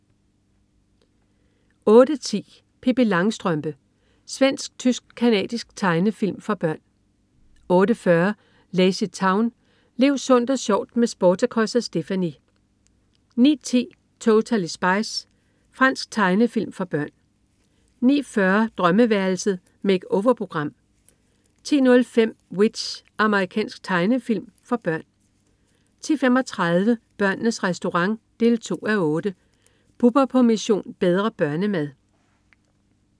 08.10 Pippi Langstrømpe. Svensk-tysk-canadisk tegnefilm for børn 08.40 LazyTown. Lev sundt og sjovt med Sportacus og Stephanie! 09.10 Totally Spies. Fransk tegnefilm for børn 09.40 Drømmeværelset. Make-over-program 10.05 W.i.t.c.h. Amerikansk tegnefilmserie for børn 10.35 Børnenes Restaurant 2:8. Bubber på "Mission: Bedre børnemad"